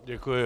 Děkuji.